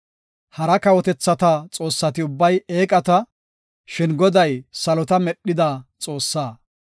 Hara kawotethata xoossati ubbay eeqata; shin Goday salota medhida Xoossaa.